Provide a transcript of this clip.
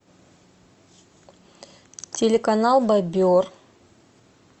телеканал бобер